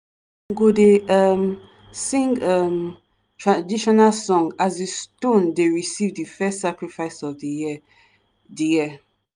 go dey um sing um traditional song as di stone dey receive di first sacrifice of di year. di year.